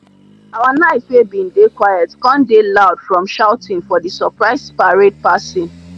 our night wey bin dey quiet come dey loud from shouting for the surprise parade passing.